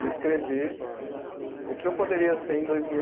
E escrevi o que eu poderia ser em dois mil